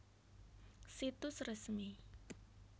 Situs resmi